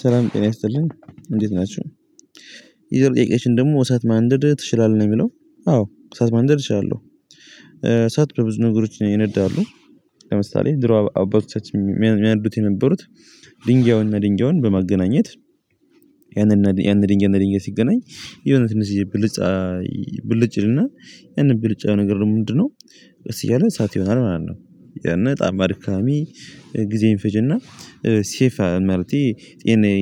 ሰላም ጤና ይስጥልን እንዴት ናችሁ ሌላው ጥያቄአችን ደግሞ እሳት ማንደድ ትችላለህ? ነው የሚለው አዎ እሳት ማንደድ እችላለሁ እሳት በብዙ ነገሮች ይነዳሉ ለምሳሌ ድሮ አባቶቻችን የሚያነዱት የነበሩት ድንጋዩንና ድንጋዩን በማገናኘት ያንን ድንጋይ እና ያንን ድንጋይ ሲገናኝ የሆነ ትንሽ ብልጽ ብልጭ ይልና ያንን ብልጭ ያለ ነገር ደግሞ ምንድነው ቀስ እያለ ሰዓት ይሆናል ማለት ነው ያን በጣም አድካሚ ጊዜ ይፈጅና ሴፍ ማለቴ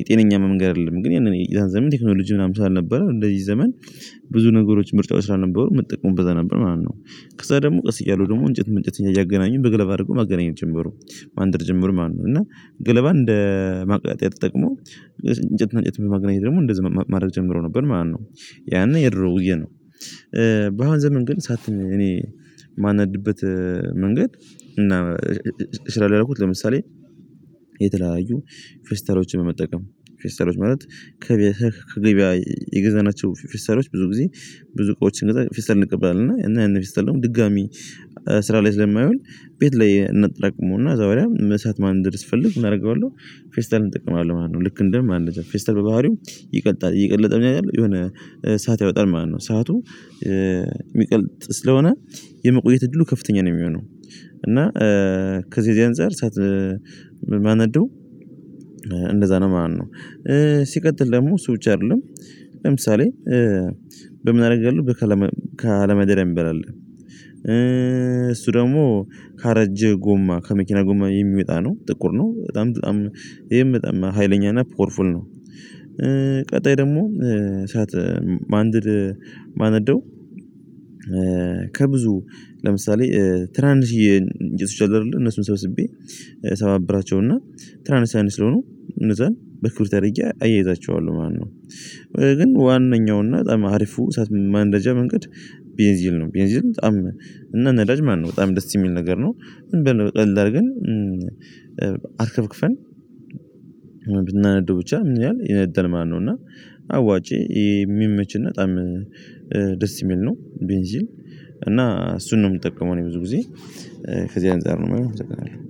ጤነኛ መንገድ አይደለም ግን ያንን ያ ዘመን ቴክኖሎጂ ምናምን ስላልነበረ እንደዚህ ዘመን ብዙ ነገሮች ምርጫዎች ስላልነበሩ የሚጠቀሙት በዛ ነበር ማለት ነው ከዛ ደግሞ ቀስ እያሉ ደግሞ እንጨት በእንጨት እያገናኙ በገለባ አድርጎ መገናኘት ጀመሩ ማንደድ ጀምሩ ማለት ነው እና ገለባን እንደ ማቀጣጠያ ተጠቅመው እንጨትእና እንጨት በማግናኘት ደግሞ እንደዚህ ማድረግ ጀምረው ነበር ማለት ነው ያኔ የድሮ ውዬ ነው በአሁን ዘመን ግን እሳት እኔ የማነድበት መንገድ እና እችላለሁ ያልኩት ለምሳሌ የተለያዩ ፌስታሎችን በመጠቀም ፌስታሎች ማለት ከገበያ የገዛናቸው ፌስታሎች ብዙ ጊዜ ብዙ እቃወች ስንገዛ ፌስታል እንቀበላለን እና ያንን ፌስታል ደግሞ ድጋሚ ስራ ላይ ስለማይውል ቤት ላይ እናጠራቅመውና ከዛ በኋላ እሳት ማንደድ ስፈልግ ምን አደርገዋለሁ ፌስታሉን እጠቀማለሁ ማለት ነው ልክ እንደ ማንደጃ ፌስታል በባህሪው ይቀልጣል እየቀለጠ ምን ያደርጋል የሆነ እሳት ያወጣል ማለት ነው እሳቱ የሚቀልጥ ስለሆነ የመቆየት እድሉ ከፍተኛ ነው የሚሆነው እና ከዚህ የዚህ አንፃር እሳት ባነደው እንደዛ ነው ማለት ነው ሲቀጥል ደግሞ እሱ ብቻ አይደለም ለምሳሌ በምን አደርጋለሁ ከአለመደሪያ የሚባል አለ እሱ ደግሞ ካረጀ ጎማ ከመኪና ጎማ የሚመጣ ነው ጥቁር ነው በጣም በጣም ይሄም በጣም ሀይለኛና ፖወር ፋል ነው ቀጣይ ደግሞ እሳት ማንደድ ማነደው ከብዙ ለምሳሌ ትናንሽየ እንጨቶች አሉ አይደለ እነሱን ሰበስቤ ሰባብራቸውና ትናንሽ ትናንሽ ስለሆኑ እነዛን በክብሪት አደርጌ አያይዛቸዋለሁ ማለት ነው ግን ዋናኛው እና በጣም አሪፉ እሳት ማንደጃ መንገድ ቤንዚል ነው ቤንዚል በጣም እና ነዳጅ ማለት ነው በጣም ደስ የሚል ነገር ነው ዝም ብለን ቀለል አድርገን አርከፍክፈን ብናነደው ብቻ ምን ይላል ይነዳል ማለት ነው እና አዋጬ የሚመችና በጣም ደስ የሚል ነው ቤንዚል እና እሱን ነው የምጠቀመው ብዙ ጊዜ ከዚህ አንፃር ነው የምለው